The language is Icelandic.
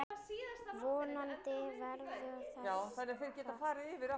Vonandi verður þetta kósí.